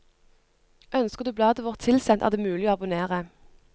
Ønsker du bladet vårt tilsendt, er det mulig å abonnere.